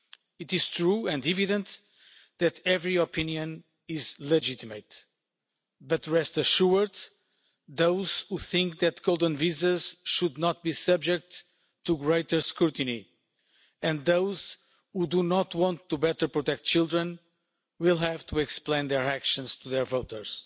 It is true and evident that every opinion is legitimate, but rest assured, those who think that golden visas should not be subject to greater scrutiny and those who do not want to better protect children will have to explain their actions to their voters.